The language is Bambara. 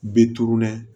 Be tunun dɛ